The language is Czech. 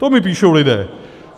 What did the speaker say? To mi píšou lidé.